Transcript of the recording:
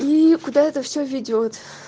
и куда это все ведёт